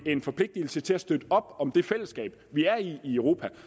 en forpligtelse til at støtte op om det fællesskab vi er i i europa